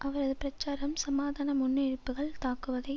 அவரது பிரச்சாரம் சமாதான முன்னெடுப்புகளை தாக்குவதை